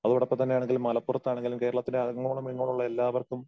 അതോടൊപ്പം തന്നെ ആണെങ്കിൽ മലപ്പുറത്താണെങ്കിലും കേരളത്തിലെ അങ്ങോളം ഇങ്ങോളം ഉള്ള എല്ലാവർക്കും